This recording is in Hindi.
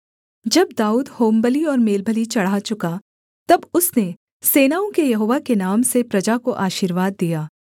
जब दाऊद होमबलि और मेलबलि चढ़ा चुका तब उसने सेनाओं के यहोवा के नाम से प्रजा को आशीर्वाद दिया